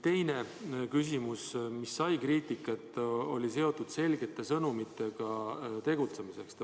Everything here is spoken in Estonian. Teine teema, mis on kriitikat saanud, on seotud selgete sõnumitega tegutsemiseks.